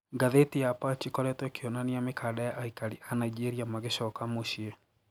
Gatheti ya Punch ikoretwo ikeonania mikanda ya aikari aa Nigeria magicoka mucie.